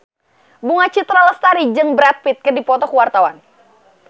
Bunga Citra Lestari jeung Brad Pitt keur dipoto ku wartawan